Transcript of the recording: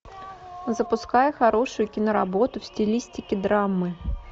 запускай хорошую киноработу в стилистике драмы